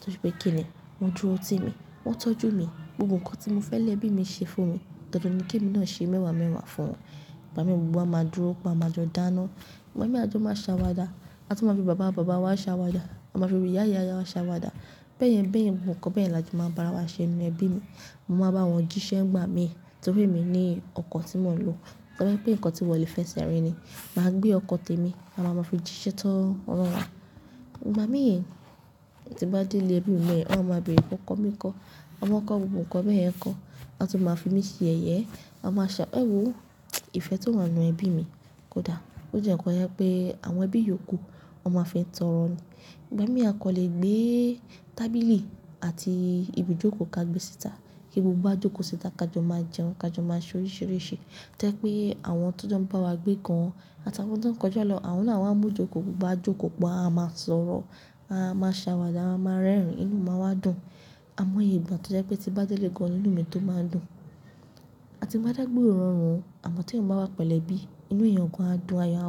torí pé kí ni wọ́n dúró ti mi, wọ́n tọ́jú mi. Gbogbo nǹkan tí mo fẹ́ lẹ ẹbí mi ṣe fún mi, dandan ni kí èmi náà ṣe mẹ́wàá mẹ́wàá fún wọn. Ngbà mí gbogbo wá máa dúró pé a máa jọ dáná. Ngbà mí a jó máa ṣàwàdà à tún máa fi bàbá bàbá wa ṣàwàdà, a máa fi ìyá ìyá ìyá wa ṣàwàdà. Bẹ́ẹ̀ yẹn bẹ́ẹ̀ yẹn, gbogbo nǹkan bẹ́ẹ̀ la a jọ máa ń bá ara wa ṣe nínú ẹbí mi. Mo máa bá wọn jí ṣẹ́ ngbà mí torí èmi ní ọkọ̀ tí mò ń lo. Tọ́ bá ye n pé ǹnkan tí wọ́n lè fẹ́ ṣe rín ni, màá gbé ọkọ̀ tẹ́ mi, a máa máa fi jí ṣẹ́ tán ọnà. Ngbà mí tí n bá dé ilé ẹbí mi bẹ́ẹ̀ yẹn, wọ́n á máa béèrè pé ọkọ mi ńkọ́, ọmọ ńkọ́ gbogbo nǹkan bẹ́ẹ̀ yẹn kọ́. A tún máa fi mí ṣe yẹ̀yẹ, a máa ṣe ẹwo, ìfẹ́ tó wá ń nu ẹbí mi kódà ó jẹ́ ǹnkan ye n pé àwọn ẹbí yòókù wọn máa n fi í tọrọ ni. Ìgbà mí a kò lè gbé tábìlì àti ibi ìjókòó ká gbé síta kí gbogbo wa jókòó síta ká jọ máa jẹun, ká jọ máa ṣe oríṣìíríṣìí. Tó yẹ̀ pé àwọn tó jọ ń bá wa gbé gan àti àwọn tó ń kọjá lọ, àwọn náà wá mú ìjókòó gbogbo wá jókòó pọ̀, a máa sọ̀rọ̀, a máa ṣàwàdà, a máa rẹ́rìn-ín, inú máa wá dùn. Àmọ́ iye ìgbà tó yẹ́ pé tí n bá délẹ́ gàn ní inú mi tó máa ń dùn. A ti maá dàgbe ororun ọ, àmọ́ tẹmì bá wá pẹ̀lú ẹbí inú èèyàn gan a dùn ayọ̀ a.